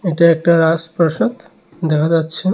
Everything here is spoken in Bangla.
এটা একটা রাজপ্রাসাদ দেখা যাচ্ছে।